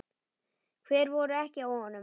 Hver voru ekki á honum?